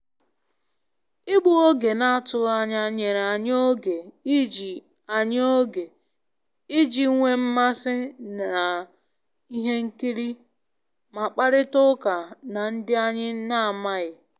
Igbu oge na-atụghị anya nyere anyị oge iji anyị oge iji nwee mmasị na ihe nkiri ma kparịta ụka na ndị anyị na-amaghị.